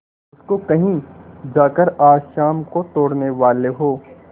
उसको कहीं जाकर आज शाम को तोड़ने वाले हों